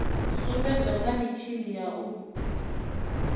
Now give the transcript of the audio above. sumbedzwa kha mitshini ya u